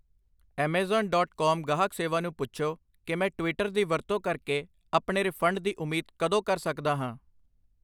Amazon dot com ਗਾਹਕ ਸੇਵਾ ਨੂੰ ਪੁੱਛੋ ਕਿ ਮੈਂ ਟਵਿੱਟਰ ਦੀ ਵਰਤੋਂ ਕਰਕੇ ਆਪਣੇ ਰਿਫੰਡ ਦੀ ਉਮੀਦ ਕਦੋਂ ਕਰ ਸਕਦਾ ਹਾਂ